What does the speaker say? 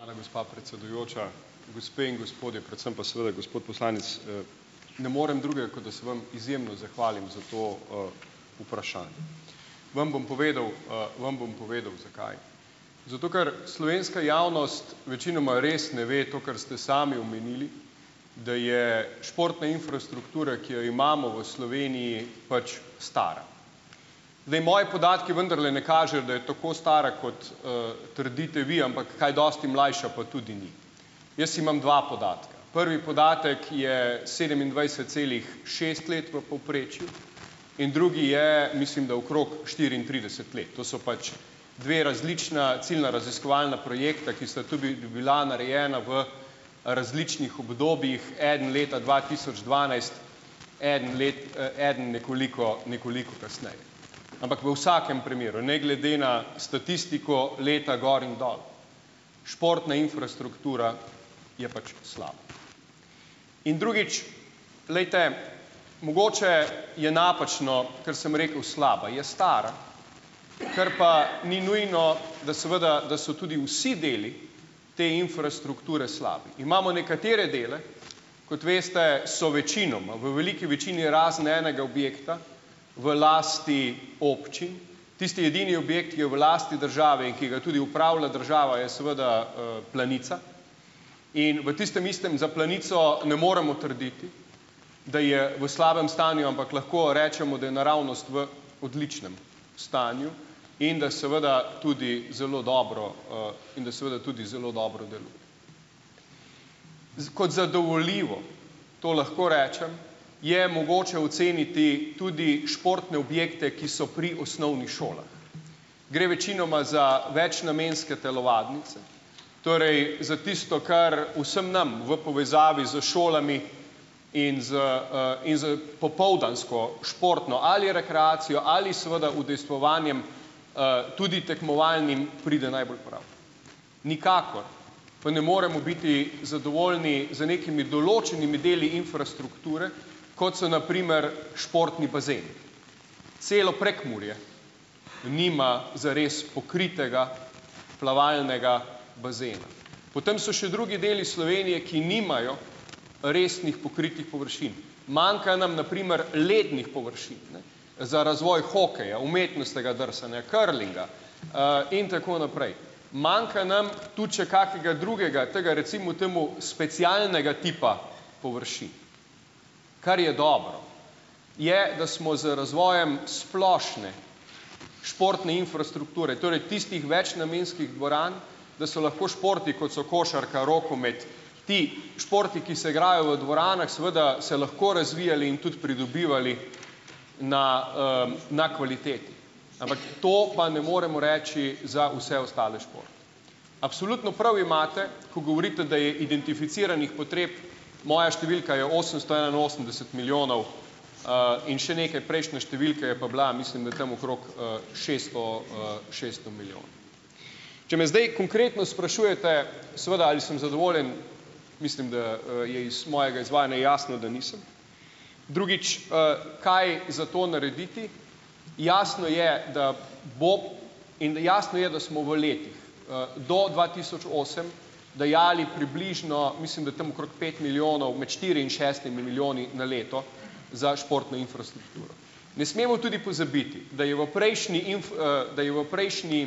Hvala, gospa predsedujoča, gospe in gospodje, predvsem pa seveda gospod poslanec - ne morem drugega, kot da se vam izjemno zahvalim za to, vprašanje. Vam bom povedal, vam bom povedal, zakaj. Zato, ker slovenska javnost večinoma res ne ve, to, kar ste sami omenili, da je športna infrastruktura, ki jo imamo v Sloveniji pač, stara. Zdaj, moji podatki vendarle ne kažejo, da je tako stara kot, trdite vi, ampak kaj dosti mlajša pa tudi ni. Jaz imam dva podatka. Prvi podatek je sedemindvajset celih šest let v povprečju in drugi je, mislim, da okrog štiriintrideset let. To sta pač dve različna ciljna raziskovalna projekta, ki sta tudi bila narejena v različnih obdobjih. Eden leta dva tisoč dvanajst, eden eden nekoliko nekoliko kasneje. Ampak v vsakem primeru, ne glede na statistiko, leta gor in dol, športna infrastruktura je pač slaba. In drugič. Glejte, mogoče je napačno, ker sem rekel slaba, je stara, kar pa ni nujno, da seveda, da so tudi vsi deli te infrastrukture slabi. Imamo nekatere dele - kot veste, so večinoma, v veliki večini razen enega objekta v lasti občin. Tisti edini objekt, ki je v lasti države in ki ga tudi upravlja država, je seveda, Planica in v tistem istem za Planico ne moremo trditi, da je v slabem stanju, ampak lahko rečemo, da je naravnost v odličnem stanju in da je seveda tudi zelo dobro, in da seveda tudi zelo dobro deluje. Z kot zadovoljivo, to lahko rečem, je mogoče oceniti tudi športne objekte, ki so pri osnovnih šolah. Gre večinoma za večnamenske telovadnice, torej za tisto, kar vsem nam v povezavi s šolami in s, in s popoldansko športno ali rekreacijo ali seveda udejstvovanjem, tudi tekmovalnim, pride najbolj prav. Nikakor pa ne moremo biti zadovoljni z nekimi določenimi deli infrastrukture, kot so na primer športni bazeni. Celo Prekmurje nima zares pokritega plavalnega bazena. Potem so še drugi deli Slovenije, ki nimajo resnih pokritih površin. Manjka nam na primer lednih površin, ne za razvoj hokeja, umetnostnega drsanja, curlinga, in tako naprej. Manjka nam tudi še kakega drugega, tega, recimo temu specialnega tipa površin. Kar je dobro, je, da smo z razvojem splošne športne infrastrukture, torej tistih večnamenskih dvoran, da so lahko športi, kot so košarka, rokomet, ti športi, ki se igrajo v dvoranah, seveda, se lahko razvijali in tudi pridobivali na, na kvaliteti. Ampak to pa ne moremo reči za vse ostale športe. Absolutno prav imate, ko govorite, da je identificiranih potreb, moja številka je osemsto enainosemdeset milijonov, in še nekaj, prejšnja številka je pa bila, mislim, da tam okrog, šeststo, šeststo milijonov. Če me zdaj konkretno sprašujete seveda, ali sem zadovoljen, mislim, da, je iz mojega izvajanja jasno, da nisem. Drugič, kaj za to narediti? Jasno je, da bo, in jasno je, da smo v letih, do dva tisoč osem dajali približno, mislim, da tam okrog pet milijonov, med štiri in šestimi milijoni na leto za športno infrastrukturo. Ne smemo tudi pozabiti, da je v prejšnji da je v prejšnji,